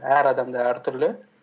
әр адамда әртүрлі